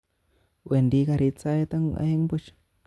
Wendi garit saet aeng buch